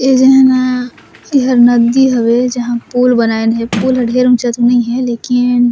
ए झन ह एहर नदी हवे जहाँ पूल बनइन हे पूल ज्यादा ऊँचा तो नई हे लेकिन--